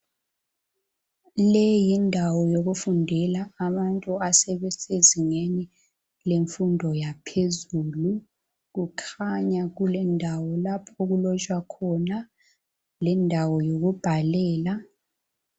Leyi yindawo yokufundela abantu abasezingeni lemfundo yaphezulu. Kukhanya kulendawo lapho okulotshwa khona lendawo yokubhalela.